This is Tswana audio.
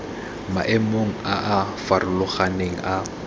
maemong a a farologaneng a